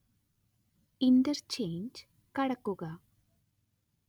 interchange കടക്കുക